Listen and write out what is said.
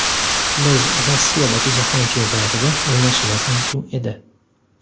Biz Rossiyadagi Jahon Chempionatida o‘ynashimiz mumkin edi.